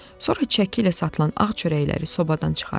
Sonra çəki ilə satılan ağ çörəkləri sobadan çıxarıram.